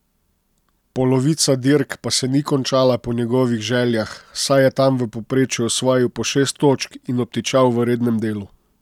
Polovica dirk pa se ni končala po njegovih željah, saj je tam v povprečju osvojil po šest točk in obtičal v rednem delu.